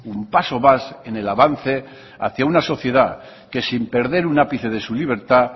un paso más en el avance hacia una sociedad que sin perder un ápice de su libertad